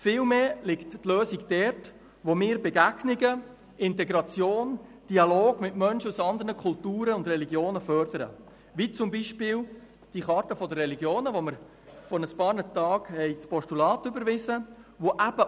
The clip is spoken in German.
Vielmehr liegen die Lösungen dort, wo wir Begegnungen, Integration und den Dialog mit Menschen aus anderen Kulturen und Religionen fördern, wie zum Beispiel mit der «Charta der Religionen», zu der wir vor ein paar Tagen das Postulat überwiesen haben.